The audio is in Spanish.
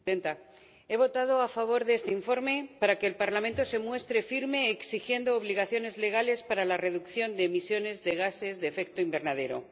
Señora Presidenta, he votado a favor de este informe para que el Parlamento se muestre firme exigiendo obligaciones legales para la reducción de las emisiones de gases de efecto invernadero.